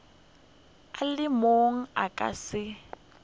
le mang a ka se